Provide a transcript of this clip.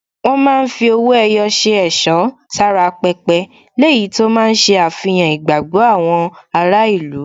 Wọ́n máa ń fi owó ẹyọ ṣe ẹ̀ṣọ́ sára pẹpẹ, léyìí tó máa ń ṣe àfihàn ìgbàgbọ́ àwọn ará ìlú.